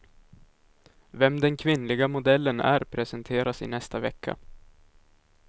Vem den kvinnliga modellen är presenteras i nästa vecka.